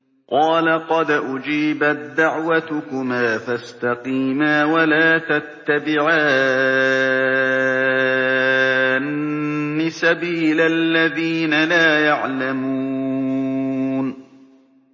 قَالَ قَدْ أُجِيبَت دَّعْوَتُكُمَا فَاسْتَقِيمَا وَلَا تَتَّبِعَانِّ سَبِيلَ الَّذِينَ لَا يَعْلَمُونَ